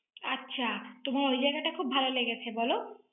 আচ্ছা। তোমার ঐ জায়গাটা খুব ভাল লেগেছে বলো?